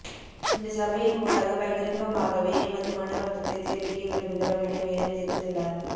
இந்த சபையின் ஊடாக பகிரங்கமாகவே எமது மன வருத்தத்தை தெரிவிக்க விரும்புகிறோம் என மேலும் தெரிவித்துள்ளார்